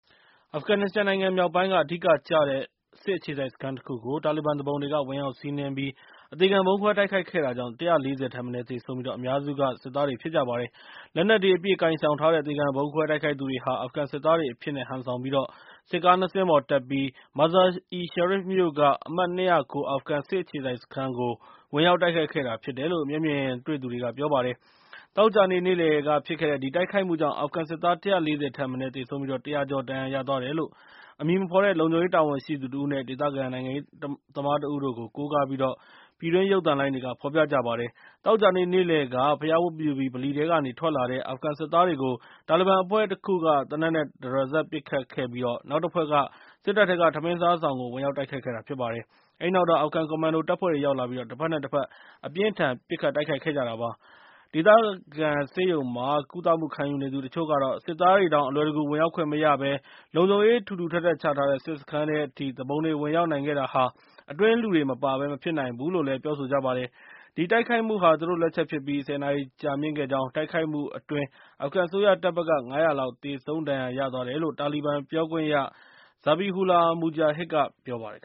အာဖဂန်နစ္စတန်နိုင်ငံမြောက်ပိုင်းက အဓိကကျတဲ့စစ်အခြေစိုက်စခန်းတခုကို တာလီဘန်သူပုန်တွေက ဝင်ရောက်စီနှင်းပြီး အသေခံဗုံးခွဲတိုက်ခိုက်ခဲ့တာကြောင့် ၁၄၀ ထက်မနည်းသေဆုံးပြီး အများစုက စစ်သားတွေဖြစ်ကြပါတယ်။ လက်နက်တွေ အပြည့်ကိုင်ဆောင်ထားတဲ့ အသေခံဗုံးခွဲတိုက်ခိုက်သူတွေဟာ အာဖဂန်စစ်သားတွေအဖြစ်နဲ့ ဟန်ဆောင်ပြီး စစ်ကား ၂ စင်းပေါ်တက်ပြီး၊ Mazar-i-Sharif မြို့က အမှတ် ၂၀၉ အာဖဂန် စစ်အခြေစိုက်စခန်းကို ဝင်ရောက်တိုက်ခိုက်ခဲ့ဖြစ်တယ်လို့ မျက်မြင်တွေ့သူတွေက ပြောပါတယ်။ သောကြာနေ့ နေ့လည်ကဖြစ်ခဲ့တဲ့ ဒီတိုက်ခိုက်မှုကြောင့် အာဖဂန်စစ်သား ၁၄၀ ထက်မနည်းသေဆုံးပြီး၊ ၁၀၀ ကျော်ဒဏ်ရာရသွားတယ်လို့ အမည်မဖော်တဲ့ လုံခြုံရေးတာဝန်ရှိသူတဦး နဲ့ ဒေသခံ နိုင်ငံရေးသမားတဦးတို့ကို ကိုးကားပြီး ပြည်တွင်းရုပ်သံလိုင်းတွေက ဖော်ပြပါတယ်။ သောကြာနေ့နေ့လည်က ဘုရားဝတ်ပြုပြီး ဗလီထဲကထွက်လာတဲ့ အာဖဂန်စစ်သားတွေကို တာလီဘန်အဖွဲ့တခုက သေနတ်နဲ့ တရစပ်ပစ်ခတ်ခဲ့ပြီး၊ နောက်တဖွဲ့က စစ်တပ်ထဲက ထမင်းစားဆောင်ကို ဝင်ရောက်တိုက်ခိုက်ခဲ့တာဖြစ်ပါတယ်။ အဲဒီနောက်တော့ အာဖဂန်ကွန်မန်ဒိုတပ်ဖွဲ့တွေရောက်လာပြီး ၊ တဘက်နဲ့ တဘက် အပြင်းအထန်ပစ်ခတ်တိုက်ခိုက်ခဲ့ကြတာဖြစ်ပါတယ်။ ဒေသခံဆေးရုံမှာ ကုသမှု ခံယူနေသူ တချို့ကတော့ စစ်သားတွေတောင် အလွယ်တကူ ဝင်ရောက်ခွင့်မရပဲ လုံခြုံရေး ထူထူထပ်ထပ် ချထားတဲ့ စစ်စခန်းထဲအထိ သူပုန်တွေ ဝင်ရောက်နိုင်ခဲ့တာဟာ အတွင်းလူတွေ မပါဘဲ မဖြစ်နိုင်ဘူးလို့လည်း ပြောဆိုကြပါတယ်။ ဒီတိုက်ခိုက်မှုဟာ သူတို့လက်ချက်ဖြစ်ပြီး၊ ၁၀ နာရီကြာမြင့်ခဲ့ကြောင်း၊ တိုက်ခိုက်မှုအတွင်း အာဖဂန်အစိုးရတပ်ဘက်က ၅၀၀ လောက် သေဆုံး၊ ဒဏ်ရာရသွားတယ်လို့ တာလီဘန်ပြောခွင့်ရ Zabihullah Mujahid က ပြောပါတယ်